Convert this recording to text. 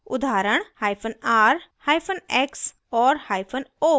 उदाहरण : r